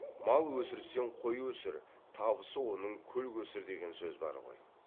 мал өсірсең қой өсір табысы оның көл көсір деген сөз бар ғой